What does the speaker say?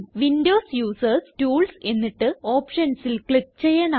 Windows users tools എന്നിട്ട് Optionsൽ click ചെയ്യണം